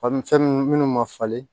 Fa fɛn ninnu minnu ma falen